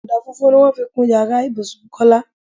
Ọdà funfun ni wọ́n fi kun ìyára ibùsùn Kọ́lá.